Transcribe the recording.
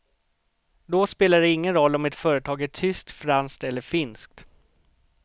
Då spelar det ingen roll om ett företag är tyskt, franskt eller finskt.